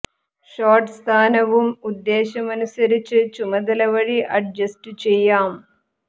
shot സ്ഥാനവും ഉദ്ദേശം അനുസരിച്ച് ചുമതല വഴി അഡ്ജസ്റ്റു ചെയ്യാം